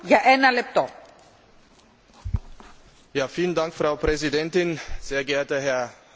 Frau Präsidentin, sehr geehrter Herr Ratsvorsitzender, verehrter Herr Füle!